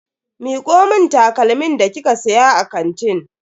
Miko mun takalmin da kika siya a kantin.